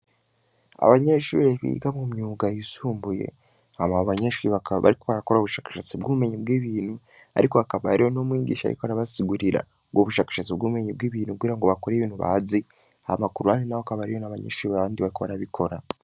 Abanyeshuiri biga mu myuga yisumbuye hama ba abanyenshwi bakaba bariko harakora ubushakashatsi bwumenye bw' ibintu, ariko hakabariho no mwigisha yiko arabasigurira ngo ubushakashatsi bwumenye bw' ibintu kgira ngo bakora ibintu bazi aha makuruhane na ho akaba ariyo n'abanyenshwi baabandi bakba arabikora.